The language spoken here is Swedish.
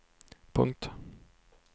punkt